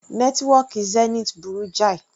Nẹ́tíwọ́kì Zenith burú jáì.